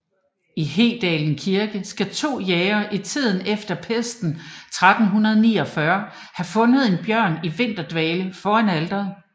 I Hedalen Kirke skal to jægere i tiden efter pesten i 1349 have fundet en bjørn i vinterdvale foran alteret